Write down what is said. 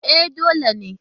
E, dole ne.